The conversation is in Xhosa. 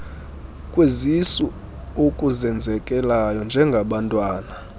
kwezisu okuzenzekelayo njengabantwana